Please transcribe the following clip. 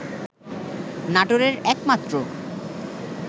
নাটোরের একমাত্র